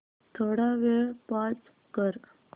थोडा वेळ पॉझ कर